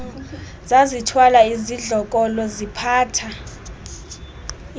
zazithwala izidlokolo ziphatha